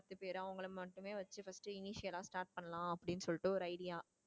பத்து பேரு அவங்கள மட்டுமே வச்சு first ஆ start பண்ணலாம் அப்டின்னு சொல்லிட்டு ஒரு idea